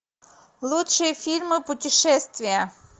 лучшие фильмы путешествия